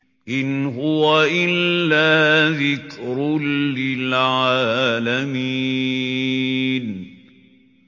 إِنْ هُوَ إِلَّا ذِكْرٌ لِّلْعَالَمِينَ